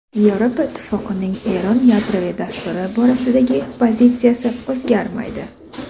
Yevropa Ittifoqining Eron yadroviy dasturi borasidagi pozitsiyasi o‘zgarmaydi.